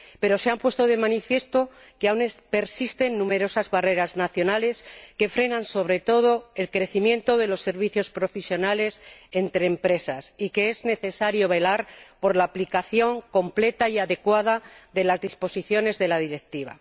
Pero se ha puesto de manifiesto que persisten numerosas barreras nacionales que frenan, sobre todo, el crecimiento de los servicios profesionales entre empresas, y que es necesario velar por la aplicación completa y adecuada de las disposiciones de la Directiva.